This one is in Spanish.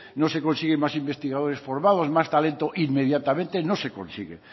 no se consiguen más investigadores formados más talento inmediatamente no se consiguen